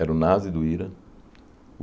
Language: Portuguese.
Era o Nasi, do Ira.